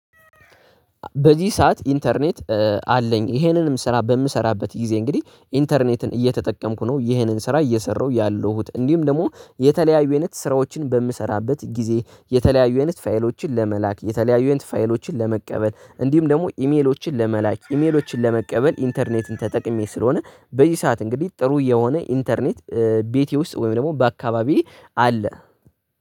በዚህ ሰዓት ኢንተርኔት አለኝ ይሄንንም ስራ በምሰራበት ጊዜ እንግዲህ ኢንተርኔትን እየተጠቀምኩ ነው። ይህንን ስራ እየሰራሁ ያለሁት እንዲሁም ደግሞ የተለያዩ አይነት ስራዎችን በምሰራበት ጊዜ የተለያዩ አይነት ፋይሎችን ለመላክ የተለያዩ አይነት ፋይሎችን ለመቀበል እንዲሁም ደግሞ ኢሜሎችን ለመላክ ኢሜሎችን ለመቀበል ኢንተርኔትን ተጠቅሜ ስለሆነ። በዚህ ሰዓት እንግዲህ ጥሩ የሆነ ኢንተርኔት ቤቴ ውስጥ ወይም ደግሞ በአካባቢዬ አለ።